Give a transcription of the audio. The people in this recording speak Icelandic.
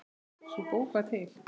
Sú bók var